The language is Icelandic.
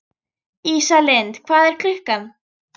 Ísalind, hvað er klukkan?